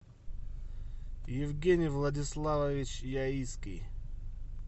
евгений владиславович яицкий